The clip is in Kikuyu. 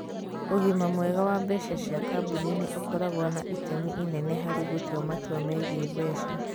Ũgima mwega wa mbeca cia kambuni nĩ ũkoragwo na itemi inene harĩ gũtua matua megiĩ mbeca.